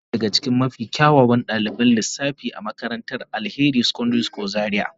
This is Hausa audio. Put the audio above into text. Zara na daya daga cikin mafi kyawun daliban lissafi a makarantar Alheri secondary school Zaria.